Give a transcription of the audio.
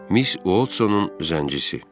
Miss Watsonun zəngisi.